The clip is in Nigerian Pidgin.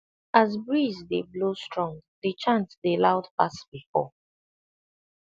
as breeze dey blow strong the chant dey loud pass before